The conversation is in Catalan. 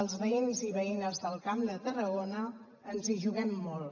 els veïns i veïnes del camp de tarragona ens hi juguem molt